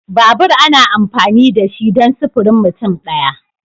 Babur ana amfani da shi ne dan sifirin mutum daya.